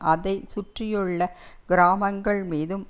அதை சுற்றியுள்ள கிராமங்கள் மீதும்